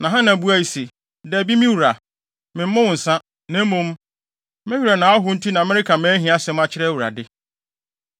Na Hana buae se, “Dabi, me wura, memmow nsa, na mmom, me werɛ na ahow nti na mereka mʼahiasɛm akyerɛ Awurade.